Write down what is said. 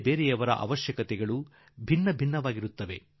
ಪ್ರತಿಯೊಬ್ಬರ ಅಗತ್ಯಗಳೂ ಭಿನ್ನ ಭಿನ್ನವಾಗಿರುತ್ತದೆ